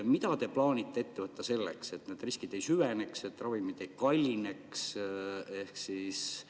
Mida te plaanite ette võtta selleks, et need riskid ei süveneks, et ravimid ei kallineks?